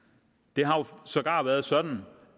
det har jo sågar været sådan